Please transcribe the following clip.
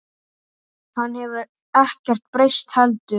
Hann hefur ekkert breyst heldur.